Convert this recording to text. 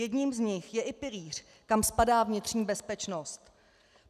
Jedním z nich je i pilíř, kam spadá vnitřní bezpečnost.